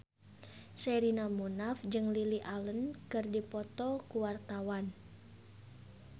Sherina Munaf jeung Lily Allen keur dipoto ku wartawan